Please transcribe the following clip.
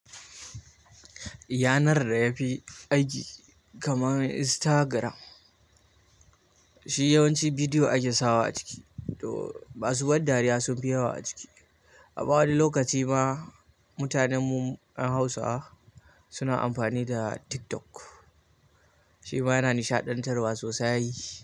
Yanar da ya fi aiki kamar Instagram, shi yawanci bidiyo ake sawa a ciki. To masu ban dariya sunfi yawa a ciki. Amma wani lokaci ma mutanen mu 'yan Hausawa suna amfani da TikTok, shi ma yana nishaɗantarwa sosai.